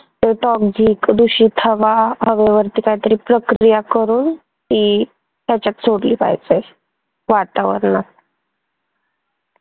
त्याच्यात जी प्रदूषित हवा वरती काहीतरी प्रक्रिया करून ती याच्यात सोडली पाहिजे, वातावरणात.